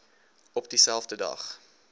op dieselfde dag